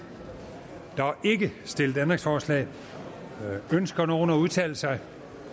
stillet ændringsforslag ønsker nogen at udtale sig